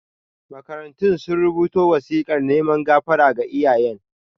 Makarantun sun rubuta wasikar neman gafara ga iyayen.